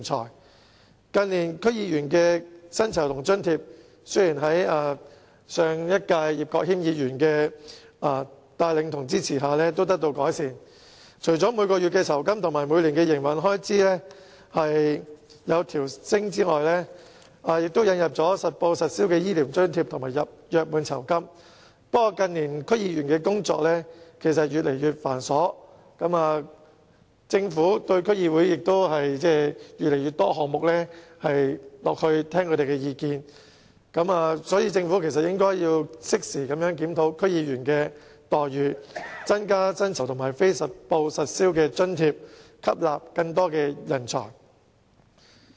雖然近年區議員的薪酬和津貼已在前立法會議員葉國謙的帶領和支持下得到改善，除了每月薪金和每年營運開支有所調升，亦引入了實報實銷的醫療津貼和約滿酬金；不過，近年區議員的工作越來越繁瑣，政府也就越來越多項目聆聽區議會的意見，因此，政府應適時檢討區議員的待遇，增加薪酬和非實報實銷津貼，吸納更多人才。